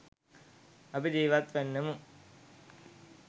අපි ජීවත්වන්නෙමු.